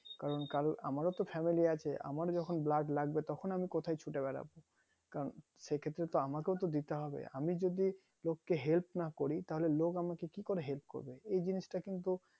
কারণ কাল আমার ও তো family আছে আমার যখন blood লাগবে তখন আমি কোথায় কোথায় ছুটে বেরাবো কারণ সেই ক্ষেত্রে তো আমাকেও তো দিতে হবে আমি যদি লোক কে help না করি তাহোলে লোক আমাকে কি করে help করবে এই জিনিসটা কিন্তু